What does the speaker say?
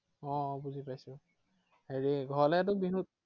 আহ আহ বুজি পাইছো। হেৰি, ঘৰলেতো বিহুত